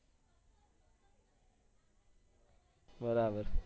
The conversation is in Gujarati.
બરાબર